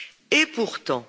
Et pourtant.